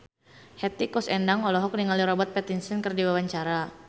Hetty Koes Endang olohok ningali Robert Pattinson keur diwawancara